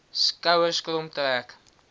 skouers krom trek